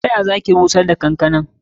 Ta ya ma za ki bushar da kankana?